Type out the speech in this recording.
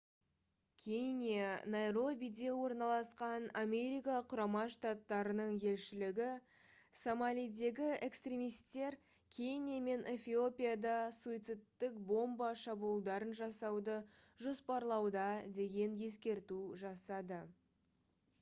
кения найробиде орналасқан америка құрама штаттарының елшілігі «сомалидегі экстремистер» кения мен эфиопияда суицидтік бомба шабуылдарын жасауды жоспарлауда деген ескерту жасады